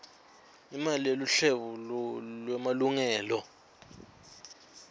imali yeluhlolo lwemalungelo